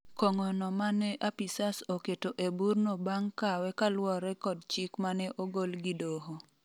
kong'o no mane apisas oketo eburno bang' kawe kaluwore kod chik mane ogol gi doho